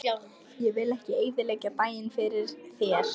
Ég vil ekki eyðileggja daginn fyrir þér.